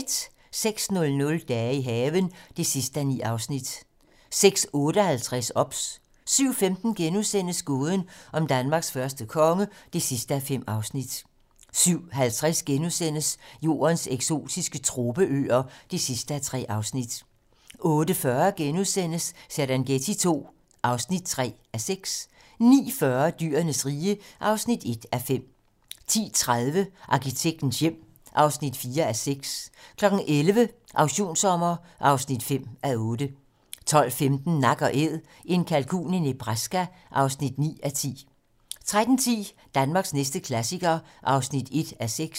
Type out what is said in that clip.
06:00: Dage i haven (9:9) 06:58: OBS 07:15: Gåden om Danmarks første konge (5:5)* 07:50: Jordens eksotiske tropeøer (3:3)* 08:40: Serengeti II (3:6)* 09:40: Dyrenes rige (1:5) 10:30: Arkitektens hjem (4:6) 11:00: Auktionssommer (5:8) 12:15: Nak & Æd - en kalkun i Nebraska (9:10) 13:10: Danmarks næste klassiker (1:6)